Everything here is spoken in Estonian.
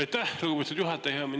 Aitäh, lugupeetud juhataja!